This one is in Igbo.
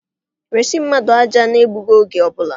Resi mmadụ aja n'egbughị oge ọbụla!